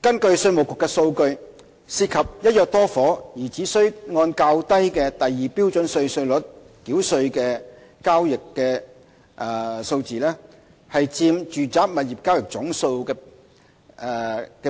根據稅務局的數據，涉及"一約多伙"而只須按較低的第2標準稅率繳稅的交易的數字佔住宅物業交易總數的